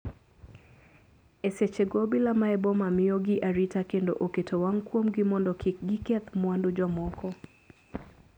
E seche go obila mae boma miyo gi arita kendo oketo wang' kuom gi modo kik gikethi mwandu jomoko.